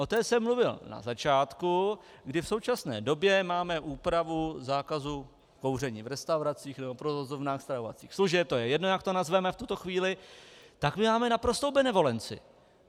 O té jsem mluvil na začátku, kdy v současné době máme úpravu zákazu kouření v restauracích nebo provozovnách stravovacích služeb, to je jedno, jak to nazveme v tuto chvíli, tak my máme naprostou benevolenci.